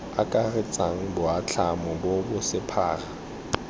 akaretsang boatlhamo bo bo sephara